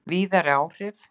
Víðari áhrif